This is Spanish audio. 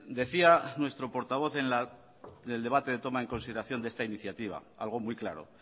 decía nuestro portavoz en el debate de toma en consideración de esta iniciativa algo muy claro